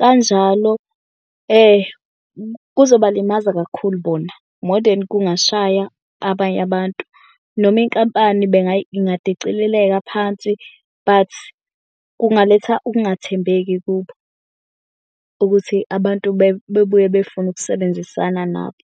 Kanjalo kuzobalimaza kakhulu bona more than kungashaya abanye abantu noma inkampani ingadicilileka phansi but kungaletha ukungathembeki kubo ukuthi abantu bebuye befune ukusebenzisana nabo.